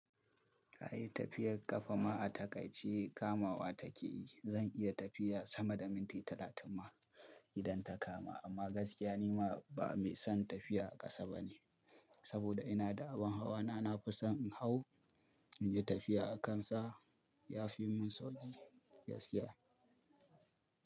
Kayi tafiyar ƙafa ma a takaice kamawa take yi. Zan iya tafiya sama da minti talatin ma idan ta kama. Amma gaskiya nima ba mai son tafiya a ƙasa bane, saboda ina da abin hawa na, na fi son in hau in yi tafiya a kansa. Ya fi mun sauƙi gaskiya.